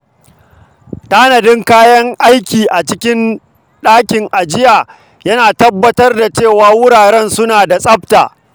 Tanadin kayan aiki a cikin ɗakin ajiya yana tabbatar da cewa wuraren suna da tsafta.